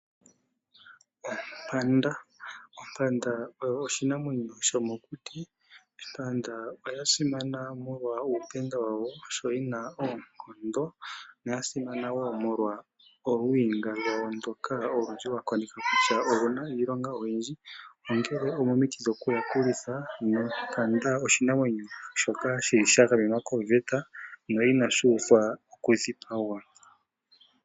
Ompanda! Ompanda oyo oshinamwenyo shomokuti. Ompanda oyasimana molwa uupenda wayo, sho yina oonkondo. No oyasimana wo molwa olwiinga lwayo ndjoka olyundji wakoneke kutya oluna iilonga oyindji. Onkele omomiti dhokuyakulitha. Nompanda oshinamwenyo shaika shili shagamenwa koveta, na inashi uthwa okudhipagwa.